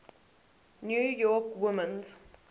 new york women's